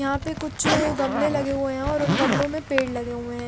यहाँ पे कुछ गमले लगे हुए है और उन गमलो में पेड़ लगे हुए है।